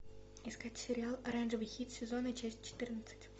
искать сериал оранжевый хит сезона часть четырнадцать